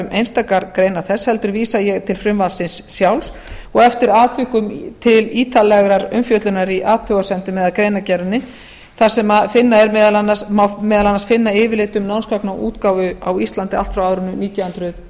einstakar greinar þess heldur vísa ég til frumvarpsins sjálfs og eftir atvikum til ítarlegrar umfjöllunar í athugasemdum eða greinargerðinni þar sem finna má meðal annars yfirlit um námsgagnaútgáfu á íslandi allt frá árinu nítján hundruð